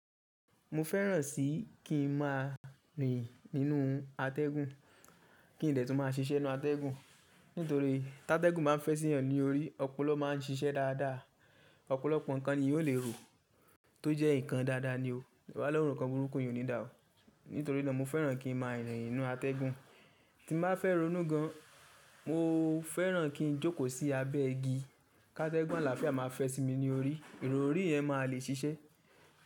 Mo fẹ́ràn sí kí n má a rìn nínú atẹ́gùn, kí n dẹ̀ tún má a ṣiṣẹ́ nínú atẹ́gùn. Nítorí tí atẹ́gùn bá fẹ́ sí ẹni lórí, ọpọlọ má a ń ṣiṣẹ́ dáadáa, ọ̀pọ̀lọpọ̀ nǹkan ni èèyàn o le rò, tó jẹ́ ǹkan dáadáa ni o. Ìwàlẹ́rù ǹkan burúkú iyẹn ò ní dà ọ́. Nítorí náà mo fẹ́ràn kí n má a rìn nínú atẹ́gùn. Tí mo bá fẹ́ rònú gan, mo fẹ́ràn kí n jókòó sí abẹ́ igi. Kí atẹ́gùn àlàáfíà má a fẹ́ sí mi lórí, èrò ori ẹ̀ má a le ṣiṣẹ́.